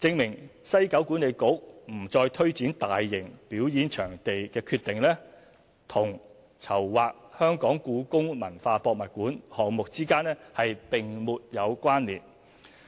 證明西九管理局不再推展大型表演場地的決定，與籌劃故宮館項目之間並沒有關連。